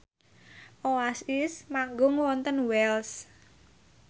Oasis manggung wonten Wells